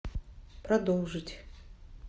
продолжить